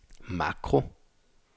makro